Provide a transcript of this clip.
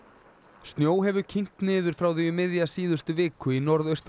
snjó hefur kyngt niður frá því um miðja síðustu viku í norðaustan